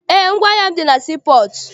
Eé, ngwaahịa m dị na sii pọọtụ.